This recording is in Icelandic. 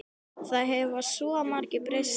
Það hefur svo margt breyst síðan þá.